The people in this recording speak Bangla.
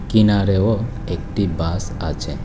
কিনারেও একটি বাস আছে।